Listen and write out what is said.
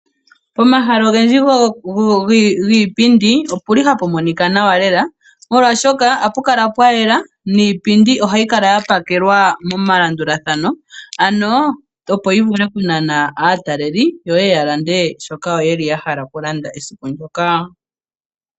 Pomahala ogendji giipindi ohapu kala tapu monika nawa lela molwaashoka ohapu kala pwa yela, niipindi ohayi kala ya pakelwa melanduthano ano opo yi vule oku nana aataleli yo ye ye ya lande shoka ya hala oku landa esiku ndyoka.